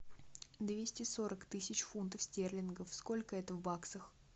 двести сорок тысяч фунтов стерлингов сколько это в баксах